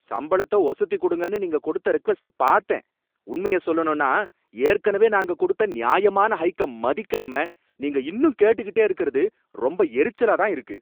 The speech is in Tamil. சம்பளத்தை ஒசத்தி குடுங்கன்னு நீங்க கொடுத்த ரெக்வெஸ்ட பார்த்தேன், உண்மைய சொல்லணும்னா ஏற்கனவே நாங்க கொடுத்த நியாயமான ஹைக்க மதிக்காம நீங்க இன்னும் கேட்டுக்கிட்டே இருக்கறது ரொம்ப எரிச்சலா தான் இருக்கு.